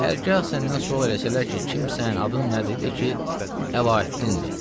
Hərgah səndən sual eləsələr ki, kimsən, adın nədir, de ki, Əlaəddindir.